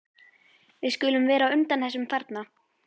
Við skulum vera á undan þessum þarna.